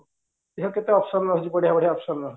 ଦେଖ କେତେ option ରହିଛି ବଢିଆ ବଢିଆ option ରହିଛି